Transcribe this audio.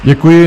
Děkuji.